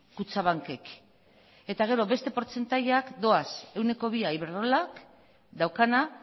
kutxabankek eta gero beste portzentaiak doaz ehuneko bia iberdrolak daukana